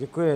Děkuji.